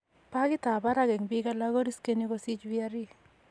Pagit ab barak eng' biik alak koriskeni kosich VRE